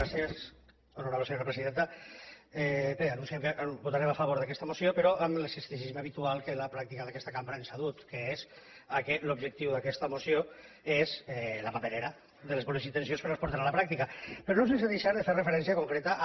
bé anunciem que votarem a favor d’aquesta moció però amb l’escepticisme habitual que la pràctica d’aquesta cambra ens ha dut que és que l’objectiu d’aquesta moció és la paperera de les bones intencions que no es porten a la pràctica però no sense deixar de fer referència concreta a